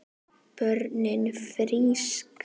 Börnin frísk.